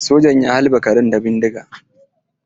Sojan ya halbe karan da bindiga.